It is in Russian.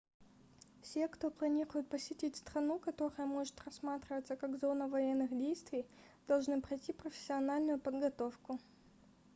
все кто планирует посетить страну которая может рассматриваться как зона военных действий должны пройти профессиональную подготовку